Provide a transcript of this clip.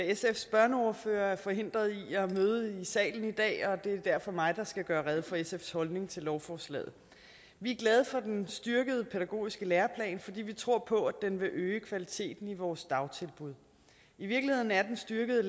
sfs børneordfører er forhindret i at møde i salen i dag og det er derfor mig der skal gøre rede for sfs holdning til lovforslaget vi er glade for den styrkede pædagogiske læreplan fordi vi tror på at den vil øge kvaliteten i vores dagtilbud i virkeligheden er den styrkede